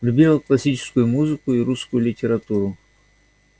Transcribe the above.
любила классическую музыку и русскую литературу